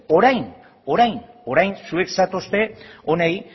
orain zuek zatozte honi